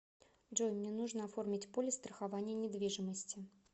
джой мне нужно оформить полис страхования недвижимости